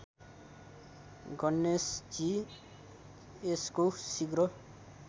गणेशजी यसको शीघ्र